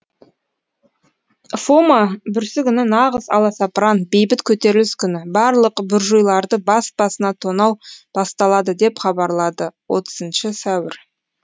фома бүрсүгіні нағыз аласапыран бейбіт көтеріліс күні барлық буржуйларды бас басына тонау басталады деп хабарлады отызыншы сәуір